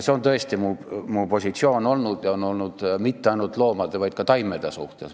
See on tõesti minu positsioon olnud ja mitte ainult loomade, vaid ka taimede suhtes.